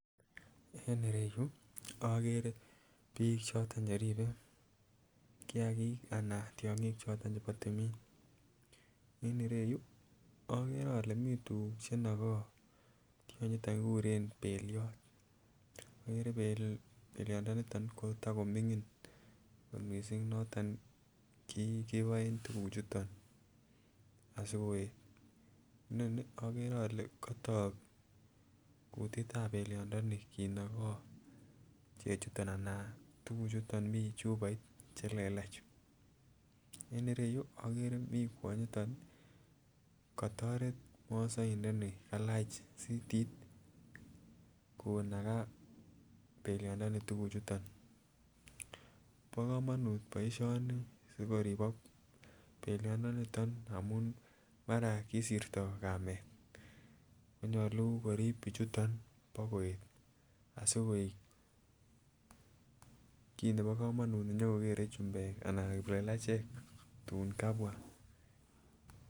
En ireyuu okere bik choton cheribe kiyakik ana tyonkik choton chebo tumin en ireyuu okere ole mii tukuk chenoko tyonyiton kikuren beliot. Okere beliot ndoniton koto komingin kot missing noton kiboen tukuk chuton asikoet, noton okere ole kotok kutitab belion ndoni kinokoo chechuton anan tukuk chuton Mii chuboit chelelach. En ireyuu okere mii kwonyoton nii kotoret mosoindoni kalach sitit konakaa beliot ndoniton tukuchuton. Bo komonut boishoni sikoribok beliondoniton amun mara kisirtok kamet konyolu korib bichuton bo koet asikoik kit nebo komonut nenyokokere chumbek anan kiplelachek tun kubwa.